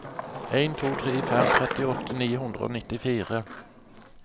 en to tre fem trettiåtte ni hundre og nittifire